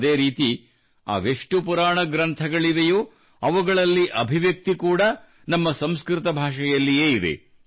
ಅದೇ ರೀತಿ ಅದೆಷ್ಟು ಪುರಾಣ ಗ್ರಂಥಗಳಿವೆಯೋ ಅವುಗಳಲ್ಲಿ ಅಭಿವ್ಯಕ್ತಿ ಕೂಡಾ ನಮ್ಮ ಸಂಸ್ಕೃತ ಭಾಷೆಯಲ್ಲಿಯೇ ಇದೆ